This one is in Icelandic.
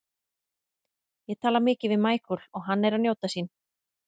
Ég tala mikið við Michael og hann er að njóta sín.